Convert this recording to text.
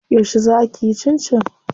Yauce zaa kiyi cincin?